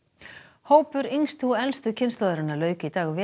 hópur yngstu og elstu kynslóðarinnar lauk í dag